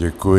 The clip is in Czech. Děkuji.